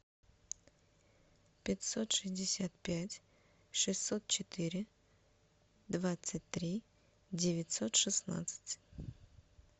пятьсот шестьдесят пять шестьсот четыре двадцать три девятьсот шестнадцать